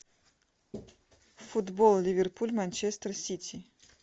футбол ливерпуль манчестер сити